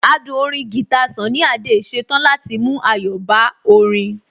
Adùn orin guitar Sunny Adé ṣetán láti mú ayọ̀ bá orin